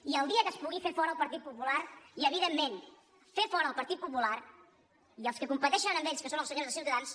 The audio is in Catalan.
i el dia que es pugui fer fora el partit popular i evidentment fer fora el partit popular i els que competeixen amb ells que són els senyors de ciutadans